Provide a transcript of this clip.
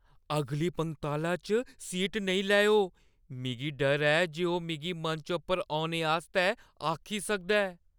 अगली पंगताला च सीट नेईं लैओ। मिगी डर ऐ जे ओह् मिगी मंच पर औने आस्तै आखी सकदा ऐ।